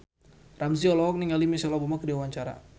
Ramzy olohok ningali Michelle Obama keur diwawancara